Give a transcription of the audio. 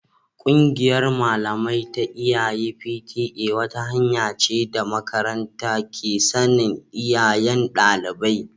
Kungiyar malamai ta iyaye (P.T.A) wata hanya ce da makaranta ke sanin iyayen dalibai